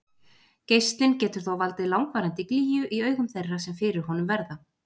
Geislinn getur þó valdið langvarandi glýju í augum þeirra sem fyrir honum verða.